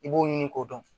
I b'o ɲini k'o dɔn